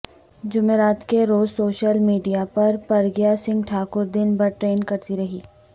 جمعرات کے روز سوشیل میڈیاپر پرگیا سنگھ ٹھاکر دن بھر ٹرینڈ کرتی رہی